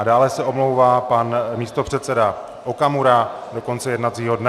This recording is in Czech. A dále se omlouvá pan místopředseda Okamura do konce jednacího dne.